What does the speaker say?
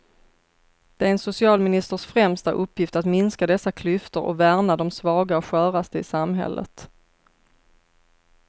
Det är en socialministers främsta uppgift att minska dessa klyftor och värna de svaga och sköraste i samhället.